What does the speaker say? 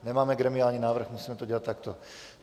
Nemáme gremiální návrh, musíme to dělat takto.